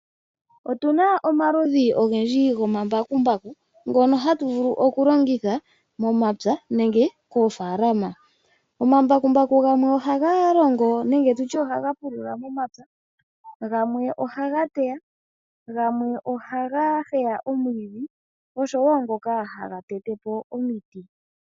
Otuna omaludhi ogendhi gomambakumbaku ngono hatu vulu okulongitha momapya nenge koofalama. Omambakumbaku gamwe ohaga longo nenge tutye ohaga pulula momapya, gamwe ohaga teya, gamwe ohaga heya omwiidhi nangoka haga tetepo omiti.